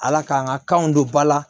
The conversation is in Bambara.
Ala k'an ka kanw don ba la